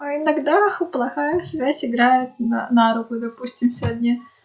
а иногда и плохая связь играет на руку допустим сегодня